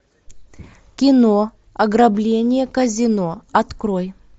кино ограбление казино открой